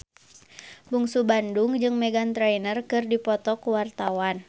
Bungsu Bandung jeung Meghan Trainor keur dipoto ku wartawan